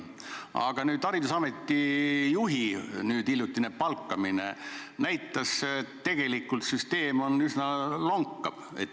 Aga haridusameti juhi hiljutine palkamine näitas, et süsteem üsna lonkab.